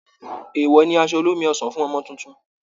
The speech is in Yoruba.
Èèwọ̀ ni aṣọ olómi ọsàn fún Ọmọ tuntun